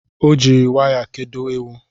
Ọ jiri waya kedo ewu